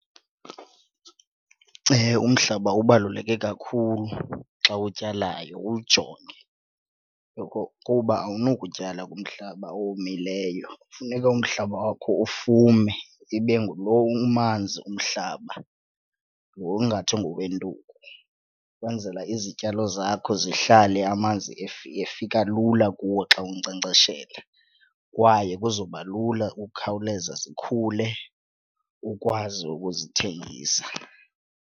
Umhlaba ubaluleke kakhulu xa utyalayo uwujonge yokokuba awunokutyala kumhlaba owomileyo. Kufuneka umhlaba wakho ufume ibe ngulo umanzi umhlaba, lo ungathi kubo ngowentuku ukwenzela izityalo zakho zihlale amanzi efika lula kuwo xa unkcenkceshela kwaye kuzoba lula ukukhawuleza zikhule ukwazi ukuzithengisa.